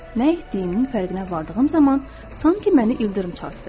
Nə etdiyimin fərqinə vardığım zaman, sanki məni ildırım çartdı.